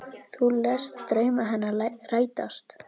Þú lést drauma hennar rætast.